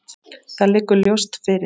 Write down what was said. Það liggur ljóst fyrir.